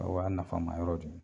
O y'a nafa ma yɔrɔ de ye.